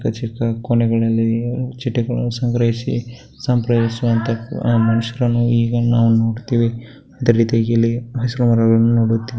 ಚಿಕ್ಕ ಚಿಕ್ಕ ಕೊನೆಗಳಲ್ಲಿ ಚಿಟ್ಟೆಗಳನ್ನು ಸಂಗ್ರಹಿಸಿ ಮನುಷ್ಯರನ್ನು ಈಗ ನಾವು ನೋಡುತ್ತೇವೆ ಅದೇ ರೀತಿಯಲ್ಲಿ ನೋಡುತ್ತೇವೆ .